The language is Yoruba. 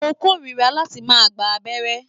Mo kórira láti máa gbà abẹ́rẹ́.